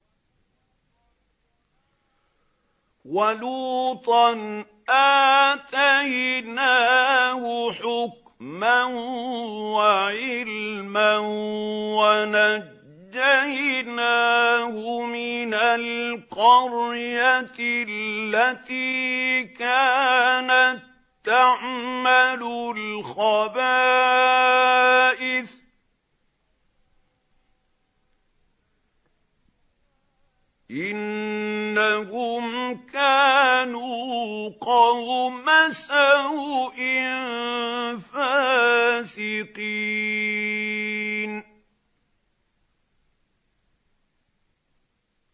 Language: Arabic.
وَلُوطًا آتَيْنَاهُ حُكْمًا وَعِلْمًا وَنَجَّيْنَاهُ مِنَ الْقَرْيَةِ الَّتِي كَانَت تَّعْمَلُ الْخَبَائِثَ ۗ إِنَّهُمْ كَانُوا قَوْمَ سَوْءٍ فَاسِقِينَ